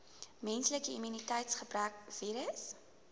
menslike immuniteitsgebrekvirus